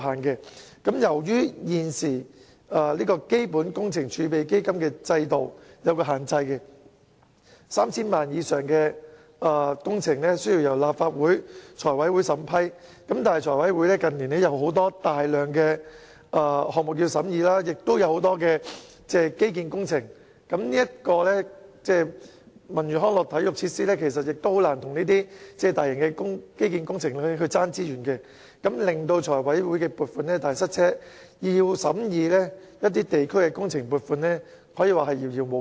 此外，由於在現行基本工程儲備基金制度下設置了限制 ，3,000 萬元以上的工程須由立法會財務委員會審批，但財委會近年有大量項目及基建工程要審議，而文娛康體設施實難以跟這些大型基建工程競爭資源，以致財委會撥款"大塞車"，要審議地區工程撥款可以說是遙遙無期。